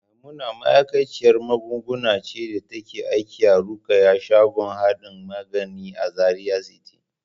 Maimuna ma'aikaciyar magunguna ce da take aiki a Rukayya shagon hardin magani a Zaria City.